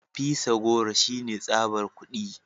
Fisa goro shine tsabar kudi